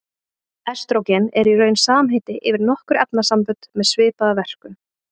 Estrógen er í raun samheiti yfir nokkur efnasambönd með svipaða verkun.